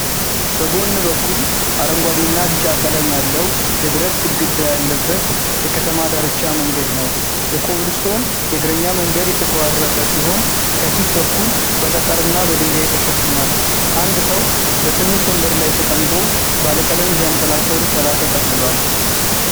በጎን በኩል አረንጓዴ እና ቢጫ ቀለም ያለው የብረት ግድግዳ ያለበት የከተማ ዳርቻ መንገድ ነው። የኮብልስቶን የእግረኛ መንገድ የተቆራረጠ ሲሆን ከፊት በኩል በጠጠርና በድንጋይ ተሸፍኗል። አንድ ሰው በትንሽ ወንበር ላይ ተቀምጦ ባለቀለም ዣንጥላ ስር ጥላ ተጠልሏል።